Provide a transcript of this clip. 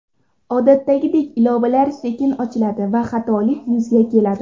Odatdagi ilovalar sekin ochiladi va xatolik yuzaga keladi .